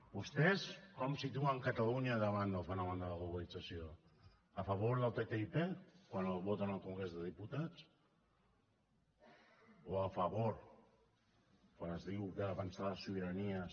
vostès com situen catalunya davant del fenomen de la globalització a favor del ttip quan el voten al congrés dels diputats o a favor quan es diu que defensar les sobiranies